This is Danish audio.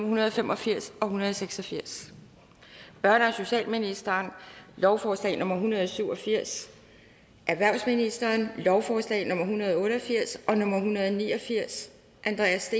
hundrede og fem og firs og hundrede og seks og firs børne og socialministeren lovforslag nummer en hundrede og syv og firs erhvervsministeren lovforslag nummer l en hundrede og otte og firs og en hundrede og ni og firs andreas